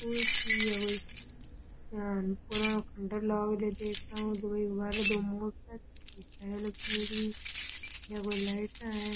school है कोई यहाँ पूरा --